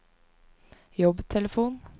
jobbtelefon